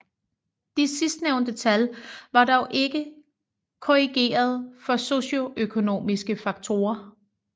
De sidstnævnte tal var dog ikke korrigeret for socioøkonomiske faktorer